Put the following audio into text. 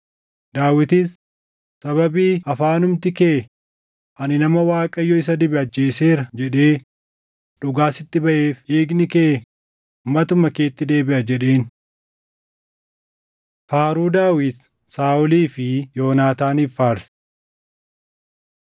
Daawitis, “Sababii afaanumti kee, ‘Ani nama Waaqayyo isa dibe ajjeeseera’ jedhee dhugaa sitti baʼeef dhiigni kee matuma keetti deebiʼa” jedheen. Faaruu Daawit Saaʼolii fi Yoonaataaniif Faarse